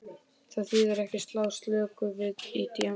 Það þýðir ekki að slá slöku við í djamminu.